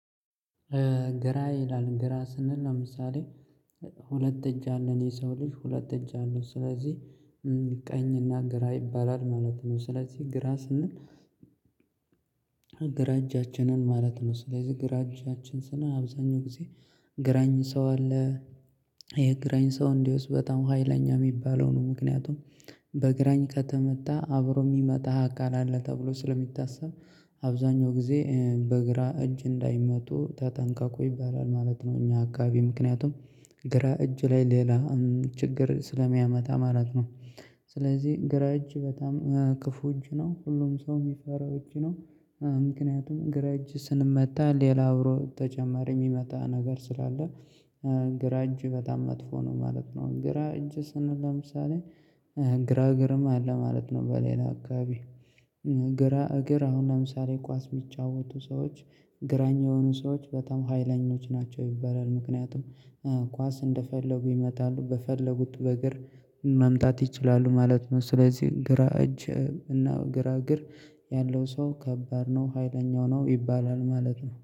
ገራ ይላል ገራ ስንል ለምሳሌ ሁለት እጅ አለን የሰው ልጅ ሁለት እጅ አለው ስለዚህ ቀኝና ግራ ይባላል ማለት ነው። ስለዚህ ግራ ስንል ግራ እጃችንን ማለት ነው ስለዚህ ግራ እጃችን ስንል አብዛኛው ጊዜ ግራኝ ሰው አለ የግራኝ ሰው እንዴውስ በጣም ሀይለኛ የሚባለው ነው። ምክንያቱም በእግራኝ ከተመታ አብሮ የሚመጣ አካል አለ ተብሎ ስለሚታሰብ አብዛኛው ጊዜ በግራ እጅ እንዳይመቱ ተጠንቀቁ ይባላል ማለት ነው። እኛ አካባቢ ምክንያቱም ግራ እጅ ላይ ሌላ ችግር ስለሚያመጣ ማለት ነው። ስለዚህ ግራ እጅ በጣም ክፉ እጅ ነው ሁሉም ሰው የሚፈራው እጅ ነው። ምክንያቱም ግራ እጅ ስንመታ ሌላ አብሮ ተጨማሪ የሚመታ ነገር ስላለ ግራ እጅ በጣም መጥፎ ነው ማለት ነው። ግራ እጅ ስንል ለምሳሌ ግራ እግርም አለ ማለት ነው። በሌላ አካባቢ እግራ እግር አሁን ለምሳሌ ኳስ የሚጫወቱ ሰዎች ግራኝ የሆኑ ሰዎች በጣም ሀይለኞች ናቸው ይባላል። ምክንያቱም ኳስ እንደፈለጉ ይመታሉ በፈለጉት በእግር መምታት ይችላሉ ማለት ነው። ስለዚህ ግራ እጅ እና ግራ እግር ያለው ሰው ከባድ ነው ሀይለኛው ነው ይባላል ማለት ነው